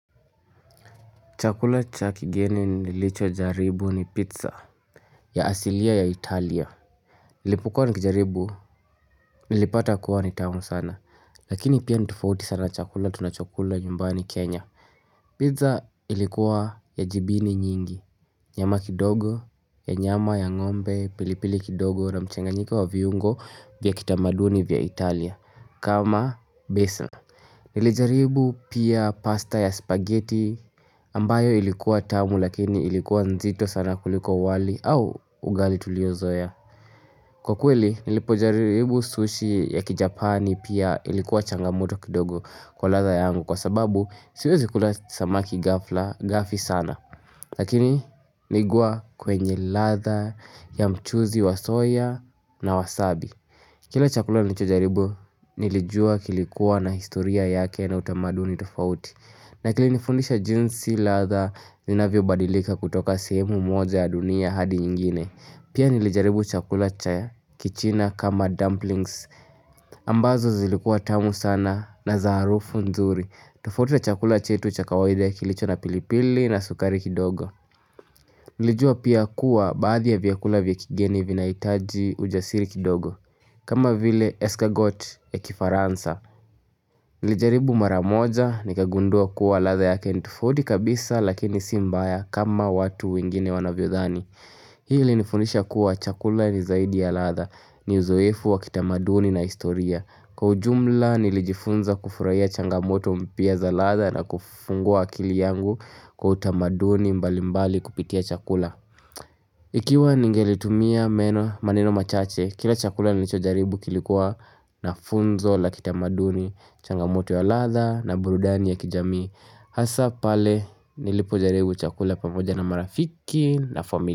Chakula cha kigeni nilichojaribu ni pizza ya asilia ya Italia Nilipokuwa nikijaribu nilipata kuwa ni tamu sana Lakini pia ni tofauti sana na chakula tunachokula nyumbani Kenya. Pizza ilikuwa ya jibini nyingi. Nyama kidogo ya nyama ya ng'ombe, pilipili kidogo na mchanganyiko wa viungo vya kitamaduni vya Italia kama besa. Nilijaribu pia pasta ya spaghetti ambayo ilikuwa tamu lakini ilikuwa nzito sana kuliko wali au ugali tuliozoea. Kwa kweli nilipojaribu sushi ya kijapani pia ilikuwa changamoto kidogo kwa ladha yangu kwa sababu siwezi kula samaki ghafla, ghafi sana lakini nigwaa kwenye ladha ya mchuzi wa soya na wasabi kila chakula nichojaribu nilijua kilikuwa na historia yake na utamaduni tofauti. Na kilinifundisha jinsi ladha inavyobadilika kutoka sehemu moja ya dunia hadi nyingine. Pia nilijaribu chakula cha kichina kama dumplings ambazo zilikuwa tamu sana na za harufu nzuri. Tofauti na chakula chetu cha kawaida kilicho na pilipili na sukari kidogo Nilijua pia kuwa baadhi ya vyakula vya kigeni vinahitaji ujasiri kidogo kama vile escargot ya kifaransa. Nilijaribu mara moja nikagundua kuwa ladha yake ni tofauti kabisa lakini si mbaya kama watu wengine wanavyodhani. Hii ilinifundisha kuwa chakula ni zaidi ya ladha, ni uzoefu wa kitamaduni na historia. Kwa ujumla nilijifunza kufurahia changamoto mpya za ladha na kufungua akili yangu kwa utamaduni mbalimbali kupitia chakula. Ikiwa ningelitumia meno, maneno machache, kila chakula nilichojaribu kilikuwa na funzo la kitamaduni, changamoto ya ladha na burudani ya kijamii. Hasa pale nilipojaribu chakula pamoja na marafiki na familia.